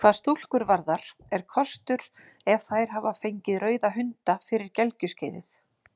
Hvað stúlkur varðar er kostur ef þær hafa fengið rauða hunda fyrir gelgjuskeiðið.